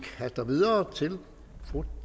haster videre til fru